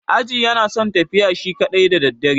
Aji yana son tafiya shi kaɗai da daddare.